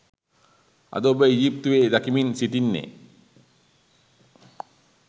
අද ඔබ ඊජිප්තුවේ දකිමින් සිටින්නේ